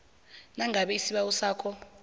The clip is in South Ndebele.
nangabe isibawo sakho